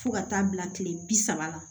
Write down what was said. Fo ka taa bila tile bi saba la